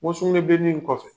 N ko sugunɛbilennin in kɔfɛ